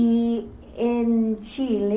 E em Chile...